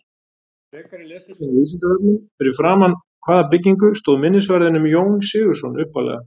Frekara lesefni á Vísindavefnum: Fyrir framan hvaða byggingu stóð minnisvarðinn um Jón Sigurðsson upphaflega?